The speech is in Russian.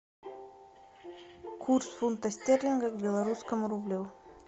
курс фунта стерлингов к белорусскому рублю